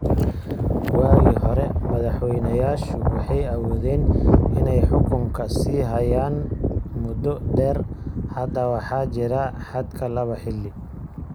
Waagii hore, madaxweynayaashu waxay awoodeen inay xukunka sii hayaan muddo dheer. Hadda waxaa jira xadka laba xilli.